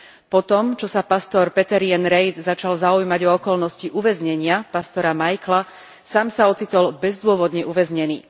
Potom, čo sa pastor Peter Yein Reith začal zaujímať o okolnosti uväznenia pastora Michaela, sám sa ocitol bezdôvodne uväznený.